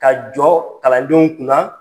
Ka jɔ kalandenw kunna